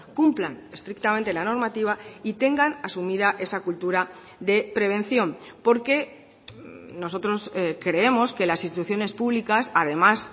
cumplan estrictamente la normativa y tengan asumida esa cultura de prevención porque nosotros creemos que las instituciones públicas además